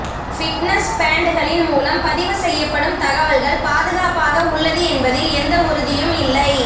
fitness பேன்ட்களின் மூலம் பதிவு செய்யப்படும் தகவல்கள் பாதுகாப்பாக உள்ளது என்பதில் எந்த உறுதியும் இல்லை